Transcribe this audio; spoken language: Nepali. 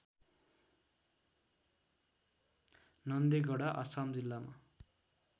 नन्देगडा अछाम जिल्लामा